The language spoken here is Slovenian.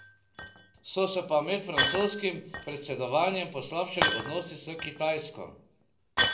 So se pa med francoskim predsedovanjem poslabšali odnosi s Kitajsko.